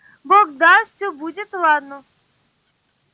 бог даст всё будет ладно